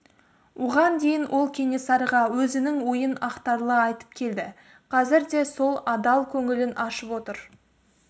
оған дейін ол кенесарыға өзінің ойын ақтарыла айтып келді қазір де сол адал көңілін ашып отыр